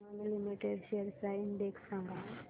Emami limited shares चा index सांगा